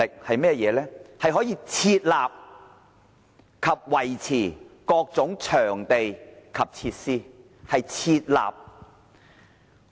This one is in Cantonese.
市政局可以設立及維持各種場地及設施，是"設立"。